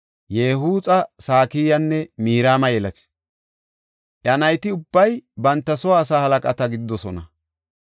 Ye7uxa, Sakiyaanne Mirma yelis. Iya nayti ubbay banta soo asaa halaqata gididosona.